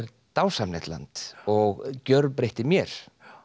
dásamlegt land og gjörbreytti mér